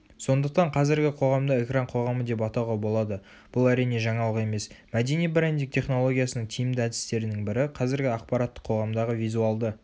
сондықтан қазіргі қоғамды экран қоғамы деп атауға болады бұл әрине жаңалық емес мәдени брендинг технологиясының тиімді әдістерінің бірі қазіргі ақпараттық қоғамдағы визуалды